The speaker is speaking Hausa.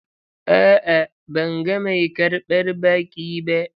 A'a, ban ga mai karbar baƙi ba.